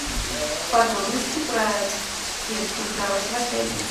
подробности про детскую кровать в отеле